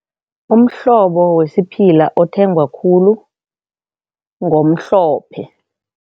Umhlobo wesiphila othengwa khulu ngomhlophe.